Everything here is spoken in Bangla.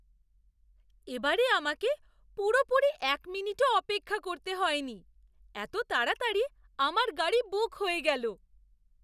এবারে আমাকে পুরোপুরি এক মিনিটও অপেক্ষা করতে হয়নি। এত তাড়াতাড়ি আমার গাড়ি বুক হয়ে গেল!